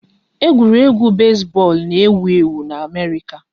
Egwuregwu besi bọọlụ n'ewu ewu n'Amerịka